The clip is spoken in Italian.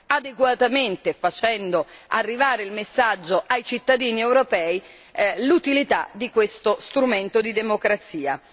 adeguatamente, facendo arrivare il messaggio ai cittadini europei, l'utilità di questo strumento di democrazia.